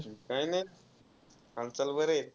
काही नाही. हालचाल बरे आहे.